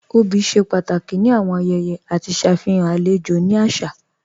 Obì ṣe pàtàkì ni awọn ayẹyẹ àti ṣafihàn alẹjò ni àṣà.